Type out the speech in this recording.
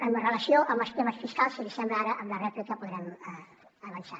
en relació amb els temes fiscals si li sembla ara amb la rèplica podrem avançar